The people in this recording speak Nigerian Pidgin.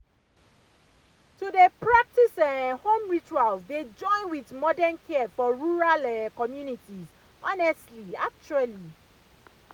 to dey practice um home rituals dey join with modern care for rural um communities honestly actually